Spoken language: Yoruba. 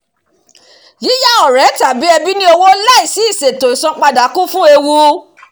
"yíya ọ̀rẹ́ tàbí ẹbí ní owó láìsí ìṣètò isanpada kún fún ewu"